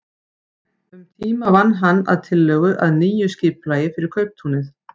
Um tíma vann hann að tillögu að nýju skipulagi fyrir kauptúnið.